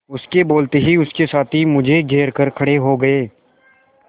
उसके बोलते ही उसके साथी मुझे घेर कर खड़े हो गए